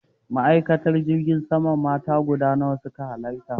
Ma'aikatan jirgin sama mata guda nawa su ka hallara?